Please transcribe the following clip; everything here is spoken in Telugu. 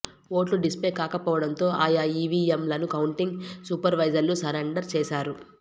ఓట్లు డిస్ప్లే కాకపోవడంతో ఆయా ఈవీఎంలను కౌంటింగ్ సూపర్వైజర్లు సరెండర్ చేశారు